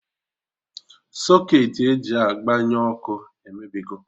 Socketị e ji agbanye ọkụ emebigo